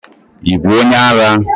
Ị bụ onye ara?